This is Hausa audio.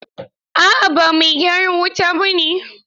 A'a ba mai gyaran wuta ba ne.